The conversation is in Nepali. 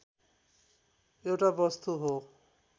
एउटा वस्तु हो